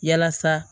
Yalasa